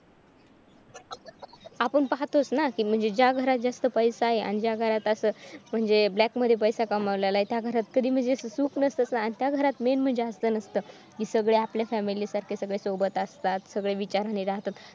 आपण पाहतोच ना म्हणजे ज्या घरात पैसा आहे म्हणजे त्या त्या घरात असं म्हणजे black मध्ये पैसा कमावलेला आहे त्या घरात कधी म्हणजे सुख नसतंच ना आणि त्या घरात main म्हणजे असं नसतंच कि सगळे आपल्या family सारखे सगळे सोबत असतात सगळे विचाराने राहतात.